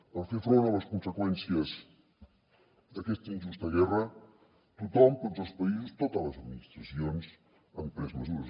per fer front a les conseqüències d’aquesta injusta guerra tothom tots els països totes les administracions han pres mesures